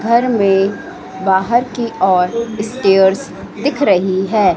घर में बाहर की ओर स्टेयर्स दिख रही है।